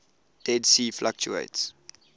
dead sea fluctuates